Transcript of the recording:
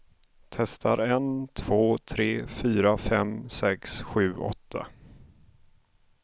Testar en två tre fyra fem sex sju åtta.